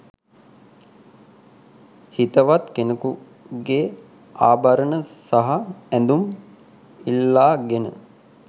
හිතවත් කෙනකුගේ ආභරණ සහ ඇඳුම් ඉල්ලාගෙන